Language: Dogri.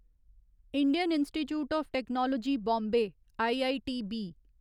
Indian Institute of Technology Bombay IITB